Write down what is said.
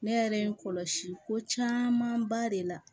Ne yɛrɛ ye n kɔlɔsi ko caman ba de la